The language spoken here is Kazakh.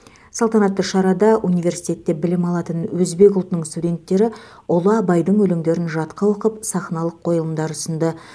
салтанатты шарада университетте білім алатын өзбек ұлтының студенттері ұлы абайдың өлеңдерін жатқа оқып сахналық қойылымдар ұсынды